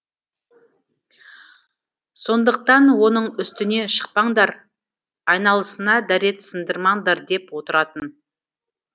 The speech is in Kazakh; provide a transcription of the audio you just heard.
сондықтан оның үстіне шықпаңдар айналысына дәрет сындырмаңдар деп отыратын